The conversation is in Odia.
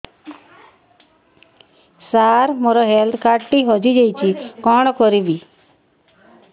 ସାର ମୋର ହେଲ୍ଥ କାର୍ଡ ଟି ହଜି ଯାଇଛି କଣ କରିବି